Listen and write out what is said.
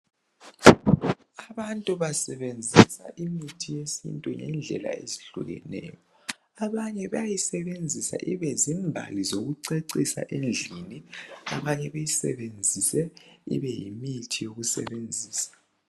Abantu basebenzisa imithi yesiNtu ngendlela ezehlukeneyo. Abanye bayayisebenzisa ibe zimbali zokucecisa endlini abanye ibe yimithi yokwelapha.